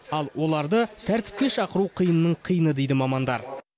ал оларды тәртіпке шақыру қиынның қиыны дейді мамандар